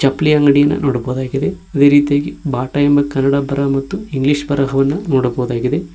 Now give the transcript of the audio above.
ಚಪ್ಲಿ ಅಂಗಡಿಯನ್ನು ನೋಡಬಹುದಾಗಿದೆ ಅದೇ ರೀತಿಯಾಗಿ ಬಾಟ ಎಂಬ ಕನ್ನಡ ಬರಹ ಮತ್ತು ಇಂಗ್ಲಿಷ್ ಬರಹವನ್ನು ನೋಡಬಹುದಾಗಿದೆ.